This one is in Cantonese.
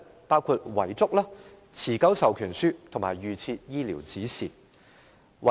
包括遺囑、持久授權書及預設醫療指示。